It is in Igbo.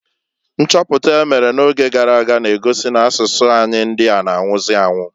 Nchọpụta emere na oge garaga na-egosi n' asụsụ anyi ndịa na -anwụzị anwu.